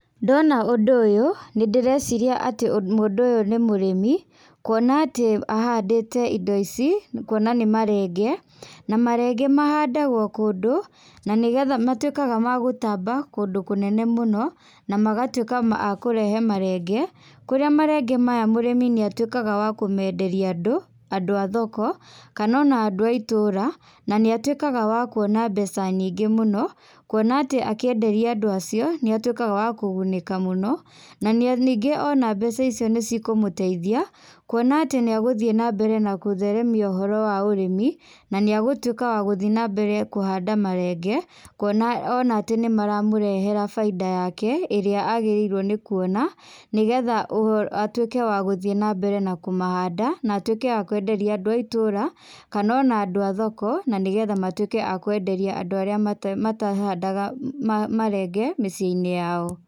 Ndona ũndũ ũyũ, nĩndĩreciria ati mũndũ ũyũ nĩ mũrĩmi. Kuona atĩ ahandĩte indo ici, kuona nĩ marenge. Na marenge mahandagwo kũndũ, na nĩgetha matuĩkaga ma gũtamba kũndũ kũnene mũno, na magatuĩka ma kũrehe marenge. Kũrĩa marenge maya mũrimi nĩatuĩkaga wa kũmenderia andũ, andũ a thoko, kana ona andũ a itũra. Na nĩatuĩkaga wa kuona mbeca nyingĩ mũno, kuona atĩ akĩenderia andũ acio nĩatuĩkaga wa kũgunĩka mũno. Na ningĩ ona mbeca icio nicikũmũteithia, kuona atĩ nĩagũthiĩ na mbere na gũtheremia ũhoro wa ũrĩmi, na nĩagũtwĩka wa gũthiĩ na mbere kũhanda marenge. Kuona ona atĩ nĩmaramũrehera baida yake, ĩrĩa agĩrĩirwo nĩkũona nĩgetha ũho, atuĩke wa gũthiĩ na mbere na kũmahanda, na atuĩke wa kwenderia andũ a itũra kana ona andũ a thoko, na nĩgetha matuĩke a kwenderia andũ arĩa matahandaga uh marenge miciĩ-inĩ yao.